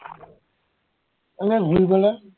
এনেই ঘূৰিবলে